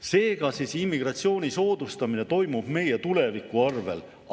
Seega, immigratsiooni soodustamine toimub meie tuleviku arvel.